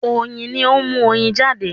oyin ní o mu oyin jade.